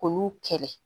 K'olu kɛlɛ